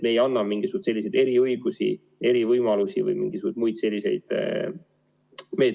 Me ei anna juurde mingeid eriõigusi, erivõimalusi rakendada mingisuguseid muid meetmeid.